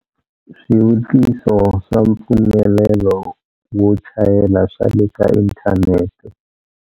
Swivutiso swa mpfumelelo wo chayela swa le ka inthanete.